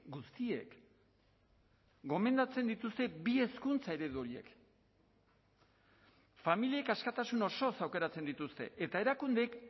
guztiek gomendatzen dituzte bi hezkuntza eredu horiek familiek askatasun osoz aukeratzen dituzte eta erakundeek